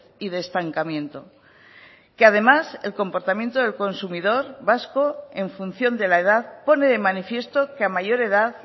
y de estancamiento que además el comportamiento del consumidor vasco en función de la edad pone de manifiesto que a mayor edad